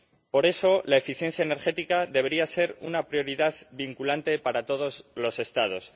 Por eso, la eficiencia energética debería ser una prioridad vinculante para todos los Estados.